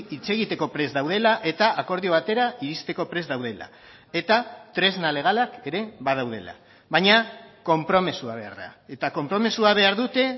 hitz egiteko prest daudela eta akordio batera iristeko prest daudela eta tresna legalak ere badaudela baina konpromisoa behar da eta konpromisoa behar dute